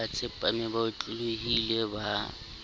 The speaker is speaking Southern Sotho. ba tsepame ba otlolohile ba